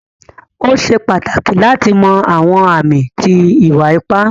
O ṣè pátákì láti mọ̀ àwọn àmì tí ìwà-ìpà.